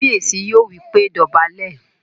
Kábíyèsí yóò wí pé "dọ̀bálẹ̀!"